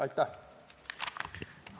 Aitäh!